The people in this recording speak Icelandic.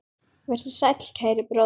Vertu sæll, kæri bróðir.